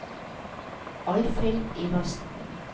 Alfhild Iversen